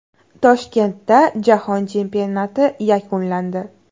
Toshkentda jahon chempionati yakunlandi.